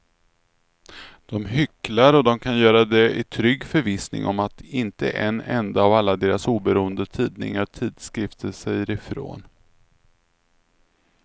De hycklar och de kan göra det i trygg förvissning om att inte en enda av alla deras oberoende tidningar och tidskrifter säger ifrån.